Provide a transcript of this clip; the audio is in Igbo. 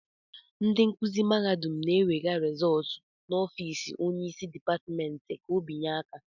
ndị nkuzi mahadum na-enwega rezóótu n'ọfiisi Onye isi dipátimènti ka obinye aka